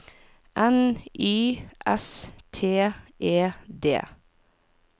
N Y S T E D